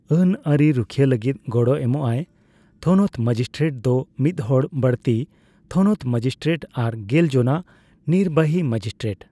ᱟᱹᱱ ᱟᱹᱨᱤ ᱨᱩᱠᱷᱤᱭᱟᱹ ᱞᱟᱹᱜᱤᱫ ᱜᱚᱲᱚ ᱮᱢᱚᱜᱟᱭ ᱛᱷᱚᱱᱚᱛ ᱢᱮᱡᱤᱥᱴᱨᱮᱴ ᱫᱚ ᱢᱤᱫᱦᱚᱲ ᱵᱟᱹᱲᱛᱤ ᱛᱷᱚᱱᱚᱛ ᱢᱮᱡᱤᱥᱴᱨᱮᱴ ᱟᱨ ᱜᱮᱞ ᱡᱚᱱᱟ ᱱᱤᱨᱵᱟᱦᱤ ᱢᱮᱡᱤᱥᱴᱨᱮᱴ ᱾